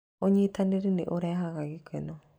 Ũnyitanĩri nĩ ũrehaga gĩkeno.